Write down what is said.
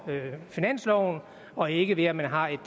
finansloven og ikke ved at man har et